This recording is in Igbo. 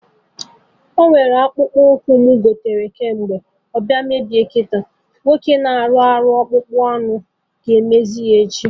Ọnwere akpụkpọ ụkwụ m goro kemgbe, ọ bịa mebie kịta, nwoke na-arụ ọrụ ọkpụkpụ anụ ga-emezi ya echi